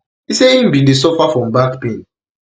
e say im bin dey suffer from back pain